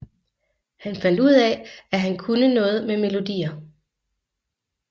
Han fandt ud af at han kunne noget med melodier